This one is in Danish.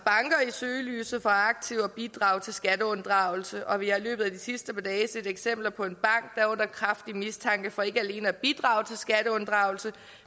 søgelyset for aktivt at bidrage til skatteunddragelse og vi har i løbet af de sidste par dage set eksempler på en bank er under kraftig mistanke for ikke alene at bidrage til skatteunddragelse